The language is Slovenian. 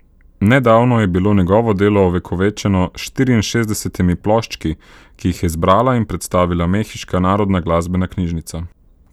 Nedavno je bilo njegovo delo ovekovečeno s štiriinšestdesetimi ploščki, ki jih je zbrala in predstavila mehiška narodna glasbena knjižnica.